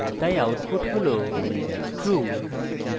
তাই output হল true